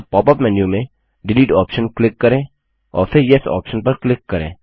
अब pop up menu में delete option click करें और फिर येस ऑप्शन पर क्लिक करें